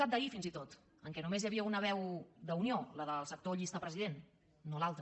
cat d’ahir fins i tot en què només hi havia una veu d’unió la del sector llista president no l’altre